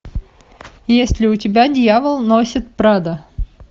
есть ли у тебя дьявол носит прада